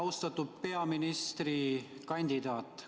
Austatud peaministrikandidaat!